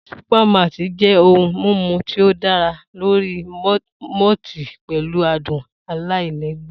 Supermalt jẹ́ ohun mímu tí ó dá lórí malt pẹ̀lú adùn aláìlẹ́gbẹ́.